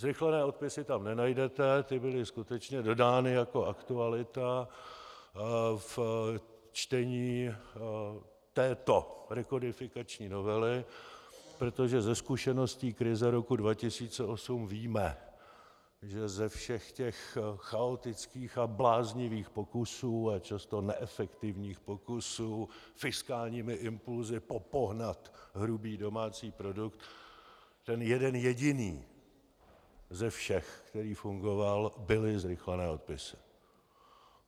Zrychlené odpisy tam nenajdete, ty byly skutečně dodány jako aktualita v čtení této rekodifikační novely, protože ze zkušeností krize roku 2008 víme, že ze všech těch chaotických a bláznivých pokusů a často neefektivních pokusů fiskálními impulsy popohnat hrubý domácí produkt ten jeden jediný ze všech, který fungoval, byly zrychlené odpisy.